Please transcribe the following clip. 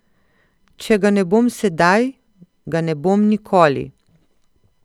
Če ga ne bom sedaj, ga ne bom nikoli.